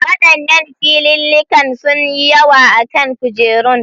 Waɗannan filillikan sunyi yawa a kan kujerun